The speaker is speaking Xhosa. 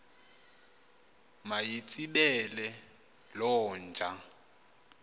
mayitsibele loo nja